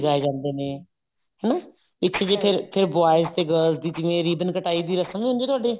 ਵੀ ਗਾਏ ਜਾਂਦੇ ਨੇ ਹਨਾ ਇਸ ਚ ਜੀ ਫੇਰ ਫੇਰ boys ਤੇ girls ਦੀ ਜਿਵੇਂ ribbon ਕਟਾਈ ਦੀ ਰਸ਼ਮ ਵੀ ਹੁੰਦੀ ਹੈ ਤੁਹਾਡੇ